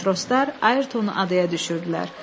Matroslar Ayertonu adaya düşürdülər.